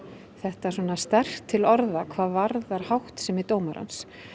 þetta sterkt til orða hvað varðar háttsemi dómarans